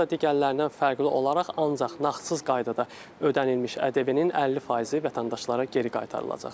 Burda digərlərindən fərqli olaraq ancaq nağdsız qaydada ödənilmiş ədəbiyyatın 50% vətəndaşlara geri qaytarılacaqdır.